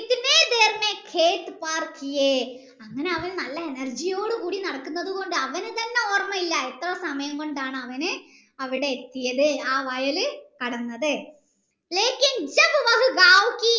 അങ്ങനെ അവൻ നല്ല energy യോടു കൂടി നടക്കുന്നത് കൊണ്ട് തന്നെ അവൻ തന്നെ ഓർമ്മയില്ല എത്ര സമയം കൊണ്ടാണ് അവൻ അവിടെ എത്തിയത് ആ വയല് കടന്നത്